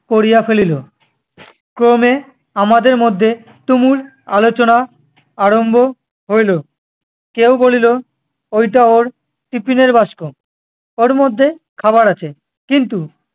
করিয়া ফেলিল। ক্রমে আমাদের মধ্যে তূমুল আলোচনা আরম্ভ হইল। কেহ বলিল, ওইটা ওর tiffin এর বাস্ক- ওর মধ্যে খাবার আছে। কিন্তু-